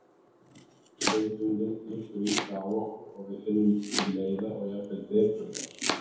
Stundum liggur illa á okkur og við finnum til leiða og jafnvel depurðar.